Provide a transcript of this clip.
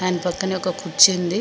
Fan పక్కనే ఒక కుర్చీ ఉంది.